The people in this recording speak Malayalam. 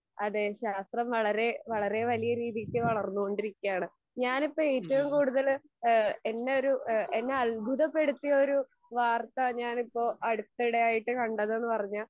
അതെ ശാസ്ത്രം വളരെ വളരേ വലിയ രീതിക്ക് വളർന്നോണ്ടിരിക്കയാണ്. ഞാനിപ്പോ ഏറ്റവും കൂടുതൽ ഏഹ് എന്നെ ഒരു ഏഹ് എന്നെ അത്ഭുതപ്പെടുത്തിയ ഒരു വാർത്ത ഞാനിപ്പോ അടുത്തിടെയായിട്ട് കണ്ടതെന്ന് പറഞ്ഞാൽ